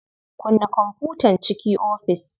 Kunna kwamfutan ciki ofis.